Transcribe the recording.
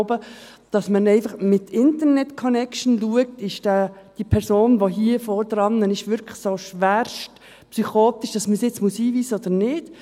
Man schaut einfach via Internetconnection, ob die Person vor Ort tatsächlich schwerstpsychotisch ist und ob diese eingewiesen werden muss oder nicht.